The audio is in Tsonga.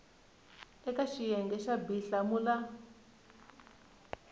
eka xiyenge xa b hlamula